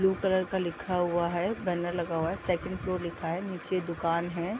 blue colour का लिखा हुआ है | बैनर लगा हुआ है | सेकंड फ्लोर लिखा है | निचे दुकान है |